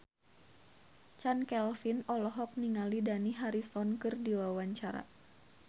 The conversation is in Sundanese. Chand Kelvin olohok ningali Dani Harrison keur diwawancara